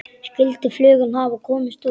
Skyldi flugan hafa komist út?